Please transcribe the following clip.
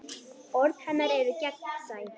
Orð hennar eru gegnsæ.